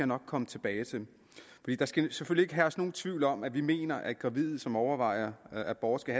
nok komme tilbage til der skal selvfølgelig herske nogen tvivl om at vi mener at gravide som overvejer abort skal